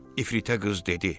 İfritə qız dedi.